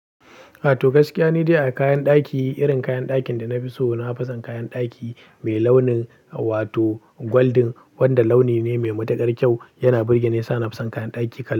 Ato gaskiya ni dai a kayan ɗaki, irin kayan dakin da na fi so, na fi son kayan ɗaki mai launin wato golden wanda launi ne mai matuƙar kyau. Yana burge ni yasa na fi son kayan ɗaki kala.